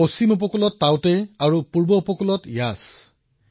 পশ্চিম উপকূলত টাউটে ঘূৰ্ণীবতাহ আৰু পূব উপকূলত যশ ঘূৰ্ণীবতাহ